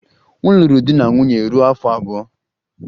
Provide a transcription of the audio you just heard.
M lụrụ di na nwunye ruo afọ abụọ.